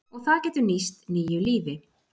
Og það getur nýst nýju lífi.